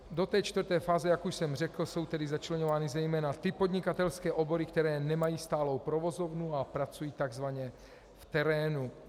Do té čtvrté fáze, jak už jsem řekl, jsou tedy začleňovány zejména ty podnikatelské obory, které nemají stálou provozovnu a pracují takzvaně v terénu.